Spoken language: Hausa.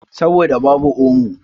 Saboda babu omo.